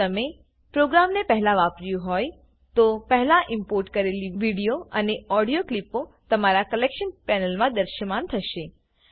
જો તમે પ્રોગ્રામને પહેલા વાપર્યું હોય તો પહેલા ઈમ્પોર્ટ કરેલી વિડીયો અને ઓડીયો ક્લીપો તમારા કલેક્શન પેનલમાં દૃશ્યમાન થશે